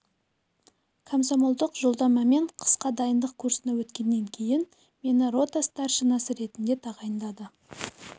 комсомолдық жолдамамен қысқа дайындық курсына өткеннен кейін мені рота старшинасы ретінде тағайындады